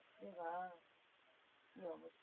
এমা কি অবস্থা